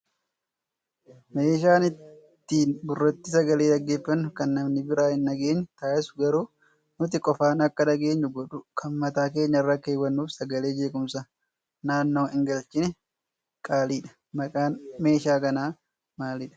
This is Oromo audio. Meeshaan ittiin gurratti sagalee dhaggeeffannu akka namni biraa hin dhageenye taasisu garuu nuti qofaan akka dhageenyu godhu kan mataa keenyarra keewwannuu fi sagalee jeequmsaa naannoo hin galchine qaaliidha. Maqaan meeshaa kanaa maalidhaa?